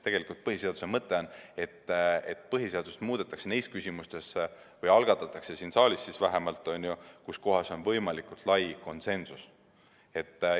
Tegelikult põhiseaduse mõte on, et põhiseadust muudetakse neis küsimustes või muutmine algatatakse siin saalis, kus on võimalikult lai konsensus.